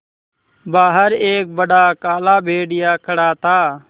बाहर एक बड़ा काला भेड़िया खड़ा था